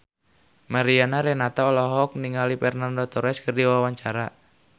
Mariana Renata olohok ningali Fernando Torres keur diwawancara